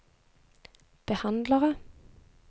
behandlere